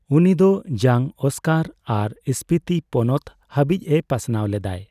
ᱩᱱᱤ ᱫᱚ ᱡᱟᱝᱚᱥᱠᱚᱨ ᱟᱨ ᱥᱯᱤᱛᱤ ᱯᱚᱱᱚᱛ ᱦᱟᱹᱵᱤᱡ ᱮ ᱯᱟᱥᱱᱟᱣ ᱞᱮᱫᱟᱭ ᱾